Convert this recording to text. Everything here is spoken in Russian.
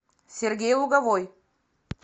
сергей луговой